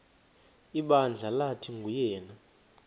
ibandla lathi nguyena